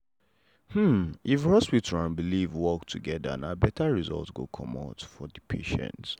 hmm if hospital and belief work together na better result go come for the patient.